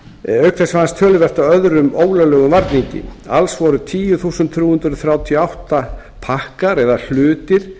auk þess fannst töluvert af öðrum ólöglegum varningi alls voru þrettán þúsund þrjú hundruð þrjátíu og átta pakkar eða hlutir